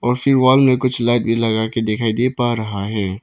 उसी वाल में कुछ लाइट भी लगा के दिखाई दे पा रहा है।